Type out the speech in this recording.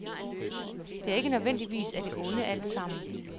Det er ikke nødvendigvis af det onde alt sammen.